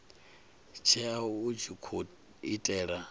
tsheo a tshi khou itela